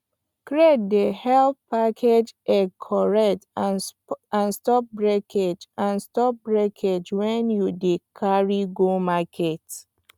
crate dey help package egg correct and stop breakage and stop breakage when you dey carry go market